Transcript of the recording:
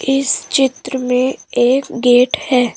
इस चित्र में एक गेट है।